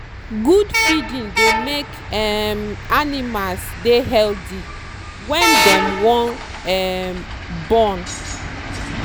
good feeding dey make um animals dey healthy wen dey wan um born